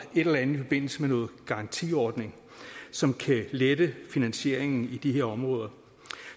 et eller andet i forbindelse med noget garantiordning som kan lette finansieringen i de her områder